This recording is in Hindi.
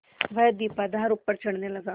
वह दीपाधार ऊपर चढ़ने लगा